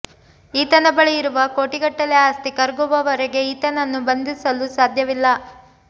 ಈತನ ಬಳಿ ಇರುವ ಕೋಟಿಗಟ್ಟಲೆ ಆಸ್ತಿ ಕರಗುವವರೆಗೆ ಈತನನ್ನು ಬಂಧಿಸಲು ಸಾಧ್ಯವಿಲ್ಲ